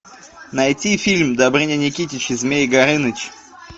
найти фильм добрыня никитич и змей горыныч